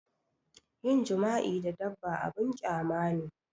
Yin jima'i da dabba abun ƙyama ne